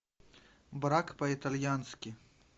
брак по итальянски